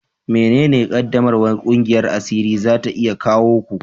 Menene ƙaddamarwar ƙungiyar asiri za ta iya kawo ku?